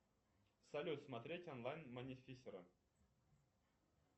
салют смотреть онлайн манифисера